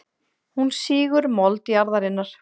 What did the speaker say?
Hún sýgur mold jarðarinnar.